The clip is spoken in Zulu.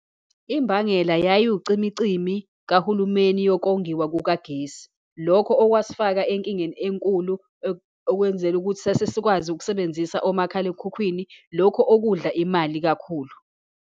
Imbangela yayiwucimicimi kahulumeni yokongiwa kukagesi. Lokho okwasifaka enkingeni enkulu okwenzela ukuthi sasesikwazi ukusebenzisa omakhalekhukhwini, lokho okudla imali kakhulu.